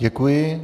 Děkuji.